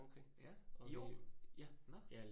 Okay, ja, i år?